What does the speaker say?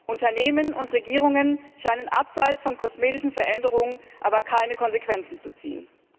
Unternehmen und Regierungen scheinen abseits von kosmetischen Veränderungen aber keine Konsequenzen zu ziehen.